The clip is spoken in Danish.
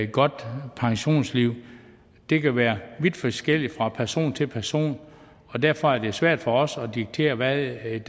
godt pensionistliv det kan være vidt forskelligt fra person til person og derfor er det svært for os at diktere hvad et